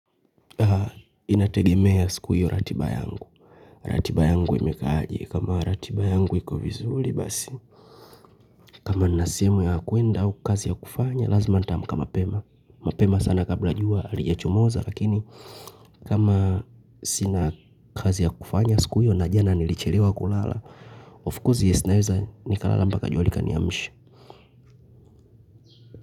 Inategemea siku hiyo ratiba yangu ratiba yangu imekaa aje, kama ratiba yangu iko vizuri basi kama nina sehemu ya kwenda au kazi ya kufanya lazima nitaamka mapema, mapema sana kabla jua halijachomoza lakini kama sina kazi ya kufanya siku hiyo na jana nilichelewa kulala of course yes naeza nikalala mpaka jua likaniamsha.